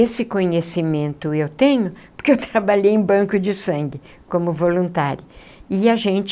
Esse conhecimento eu tenho porque eu trabalhei em banco de sangue como voluntária e a gente